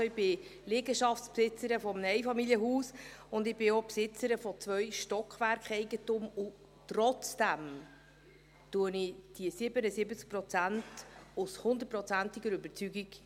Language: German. Ich bin Liegenschaftsbesitzerin eines Einfamilienhauses und ich bin auch zweifache Besitzerin von Stockwerkeigentum, und trotzdem vertrete ich hier diese 77 Prozent mit 100-prozentiger Überzeugung.